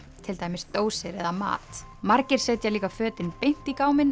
til dæmis dósir eða mat margir setja líka fötin beint í